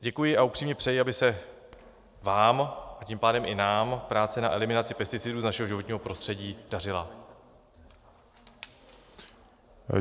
Děkuji a upřímně přeji, aby se vám a tím pádem i nám práce na eliminace pesticidů z našeho životního prostředí dařila.